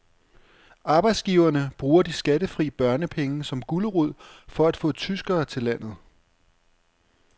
Arbejdsgiverne bruger de skattefri børnepenge som gulerod for at få tyskere til landet.